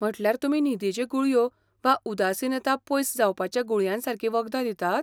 म्हटल्यार तुमी न्हिदेच्यो गुळयो वा उदासीनता पयस जावपाच्या गुळयांसारकीं वखदां दितात?